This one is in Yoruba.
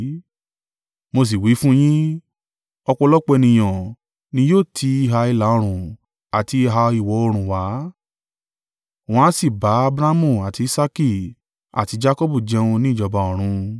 Mo sì wí fún yín, ọ̀pọ̀lọpọ̀ ènìyàn ni yóò ti ìhà ìlà-oòrùn àti ìhà ìwọ̀-oòrùn wá, wọ́n á sì bá Abrahamu àti Isaaki àti Jakọbu jẹun ní ìjọba ọ̀run.